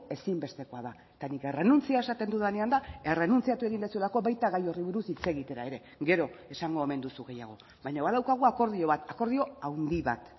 ezinbestekoa da eta nik errenuntzia esaten dudanean da errenuntziatu egin duzulako baita gai horri buruz hitz egitera ere gero esango omen duzu gehiago baina badaukagu akordio bat akordio handi bat